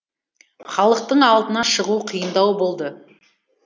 халықтың алдына шығу қиындау болды